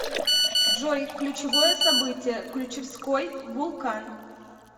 джой ключевое событие ключевской вулкан